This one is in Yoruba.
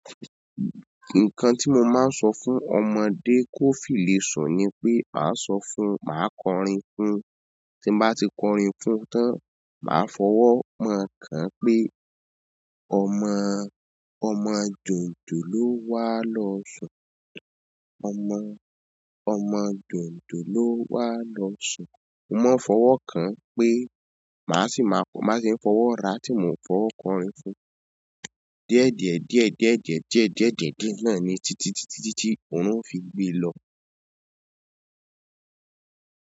Nǹkan tí mo máa ń sọ fún ọmọdé kó fi le sùn ni pé, a sọ fún, máa kọrin fún, tí bá ti kọrin fún tán, màá fọwọ́ mán an ọ kàn án pé ọmọ, ọmọ jònjò ló wà lọ́ sùn. Ọmọ, ọmọ jònjò ló wà lọ́ sùn. Mo máa ń fọwọ́ kàn án pé màá sì máa fọ, màá sì ń fọwọ́ ra tí mo ò fọwọ́ kọrin fún. Díẹ́dìẹ̀díẹ̀ díẹ́dìẹ̀díẹ̀ díẹ́dìẹ̀díẹ̀ náà ni títí títí títí orun ó fi gbé e lọ.